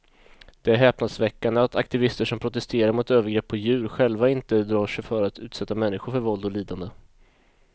Det är häpnadsväckande att aktivister som protesterar mot övergrepp på djur själva inte drar sig för att utsätta människor för våld och lidande.